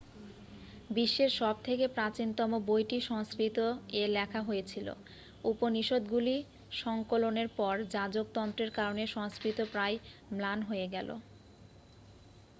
বিশ্বের সবথেকে প্রাচীনতম বইটি সংস্কৃত-এ লেখা হয়েছিল উপনিষদগুলি সংকলনের পর যাজকতন্ত্রের কারণে সংস্কৃত প্রায় ম্লান হয়ে গেল